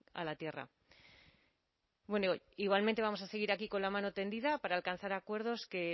a la tierra bueno igualmente vamos a seguir aquí con la mano tendida para alcanzar acuerdos que